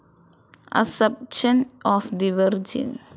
assumption of the virgin,